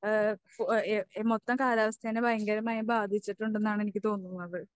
ഏഹ് ഓ ഏഹ് മൊത്തം കാലാവസ്ഥയെ ഭയങ്കരമായി ബാധിച്ചിട്ടുണ്ടെന്നാണ് എനിക്ക് തോന്നുന്നത്.